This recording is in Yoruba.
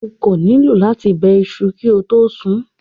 O kò nílò láti bẹ iṣu kí o tó sun ún.